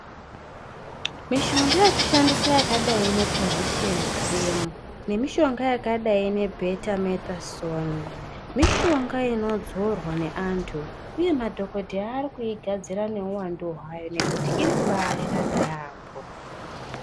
Mishonga yekushandisa yakadai nepozisheni kirimu ne mishonga yakadai ne bhetametazoni mishonga inodzorwa neantu uye madhokodheya ari kuigadzira neuwandu hwayo ngekuti iri kubashanda yamho.